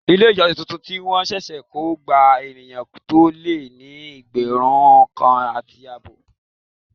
Ilé ìjọsìn tuntun tí wọn ṣẹ̀ṣẹ̀ kọ gba ènìyàn tó lé ní ẹgbẹ̀rún kan àti àbọ̀.